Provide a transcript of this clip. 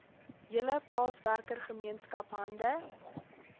hele plaaswerkergemeenskap hande